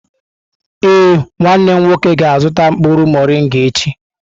Ee, nwanne m nwoke ga-azụta mkpụrụ morịnga echi.